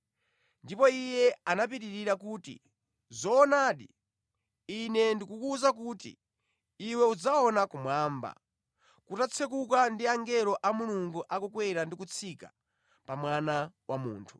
Ndipo Iye anapitirira kuti, “Zoonadi, Ine ndikuwuza kuti iwe udzaona kumwamba, kutatsekuka ndi angelo a Mulungu akukwera ndi kutsika pa Mwana wa Munthu.”